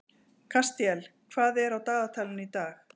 Kastíel, hvað er á dagatalinu í dag?